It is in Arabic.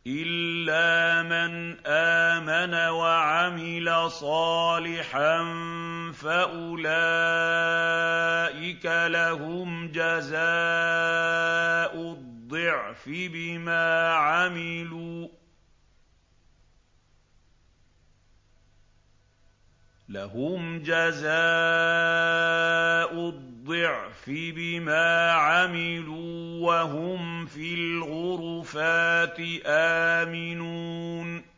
إِلَّا مَنْ آمَنَ وَعَمِلَ صَالِحًا فَأُولَٰئِكَ لَهُمْ جَزَاءُ الضِّعْفِ بِمَا عَمِلُوا وَهُمْ فِي الْغُرُفَاتِ آمِنُونَ